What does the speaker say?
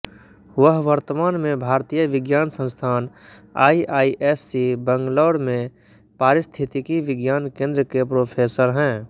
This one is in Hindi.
वह वर्तमान में भारतीय विज्ञान संस्थान आईआईएससी बैंगलोर में पारिस्थितिकी विज्ञान केंद्र के प्रोफेसर हैं